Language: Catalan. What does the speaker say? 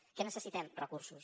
què necessitem recursos